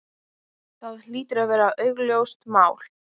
Það hlýtur að vera augljóst mál.